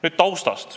Nüüd taustast.